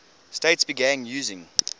states began using